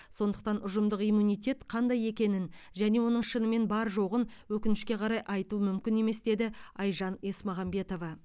сондықтан ұжымдық иммунитет қандай екенін және оның шынымен бар жоғын өкінішке қарай айту мүмкін емес деді айжан есмағамбетова